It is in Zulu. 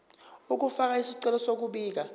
ukufaka isicelo sokubika